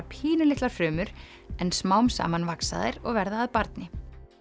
pínulitlar frumur en smám saman vaxa þær og verða að barni